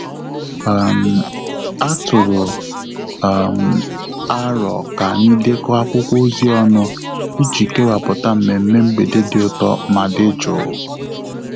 um A tụrụ um m arọ ka anyị dekọ akwụkwọ ozi ọnụ iji kewaputa mmemme mgbede dị ụtọ ma dị jụụ